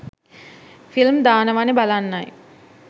film දානවනෙ බලන්නයි